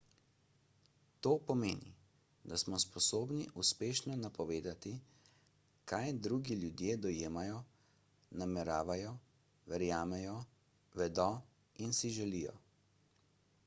to pomeni da smo sposobni uspešno napovedati kaj drugi ljudje dojemajo nameravajo verjamejo vedo in si želijo